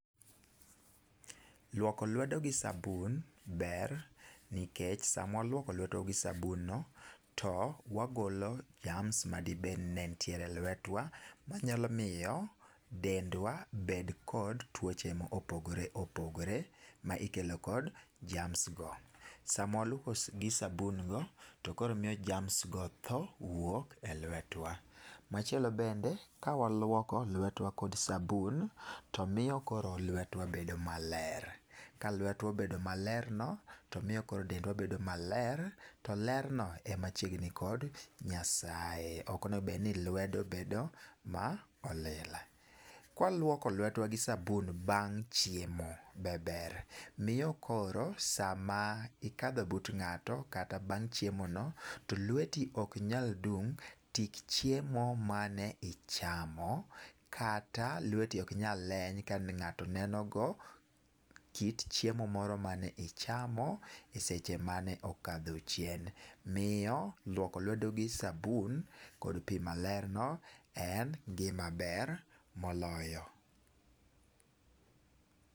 Luoko lwedo gi sabun ber nikech sama waluoko lwetwa gi sabun no to wagolo germs madibedi ni ne ntiere lwetwa manyalo miyo dendwa bed kod tuoche mopogre opogre ma ikelo kod germs go. Samwa luoko gi sabun go to koro miyo germs go tho wuok e lwetwa. Machielo bende ka waluoko lwetwa kod sabun to miyo koro lwetwa bedo maler ka lwetwa obedo maler no . Miyo koro dendwa bedo maler to ler no ema chiegni gi Nyasaye, Ok onego bed ni lwedo bedo ma olil. Kwa luoko lwedo gi sabun bang' chiemo be ber miyo , koro sama ikadho but ng'ato kata bang' chiemo no to lweti ok nyal dum tik chiemo mane ichamo kata lweti ok nyal leny ka ng'ato neno go kit chiemo moro mane ichamo eseche mane okadho chien . Miyo luoko lwedo gi sabun kod pii maler no en gima ber moloyo